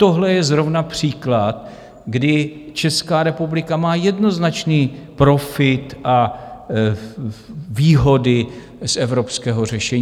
Tohle je zrovna příklad, kdy Česká republika má jednoznačný profit a výhody z evropského řešení.